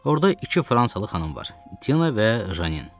Orda iki fransalı xanım var: Tina və Janine.